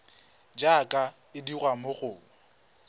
jaaka e dirwa mo go